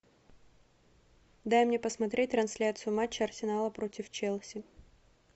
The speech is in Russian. дай мне посмотреть трансляцию матча арсенала против челси